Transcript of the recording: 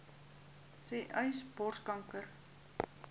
sê uys borskanker